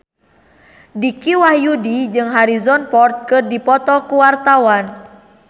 Dicky Wahyudi jeung Harrison Ford keur dipoto ku wartawan